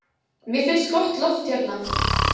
Mér finnst gott loft hérna.